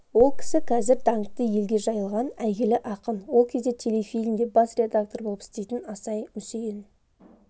ол кісі қазір даңқы елге жайылған әйгілі ақын ол кезде телефильмде бас редактор болып істейтін асай-мүсейін